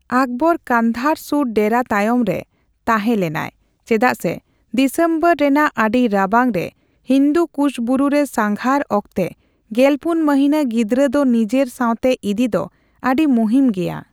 ᱚᱠᱵᱚᱨ ᱠᱚᱸᱫᱷᱟᱨ ᱥᱩᱨ ᱰᱮᱨᱟ ᱛᱟᱭᱚᱢ ᱨᱮ ᱛᱟᱦᱮᱸ ᱞᱮᱱᱟᱭ, ᱪᱮᱫᱟᱜ ᱥᱮ ᱫᱤᱥᱚᱢᱵᱚᱨ ᱨᱮᱱᱟᱜ ᱟᱹᱰᱤ ᱨᱟᱵᱟᱝ ᱨᱮ ᱦᱤᱱᱫᱩ ᱠᱩᱥ ᱵᱩᱨᱩ ᱨᱮ ᱥᱟᱸᱜᱷᱟᱨ ᱚᱠᱛᱮ ᱜᱮᱞᱯᱩᱱ ᱢᱚᱦᱱᱟᱹ ᱜᱤᱫᱽᱨᱟᱹ ᱫᱚ ᱱᱤᱡᱮᱨ ᱥᱟᱣᱛᱮ ᱤᱫᱤ ᱫᱚ ᱟᱹᱰᱤ ᱢᱩᱦᱤᱢ ᱜᱮᱭᱟ᱾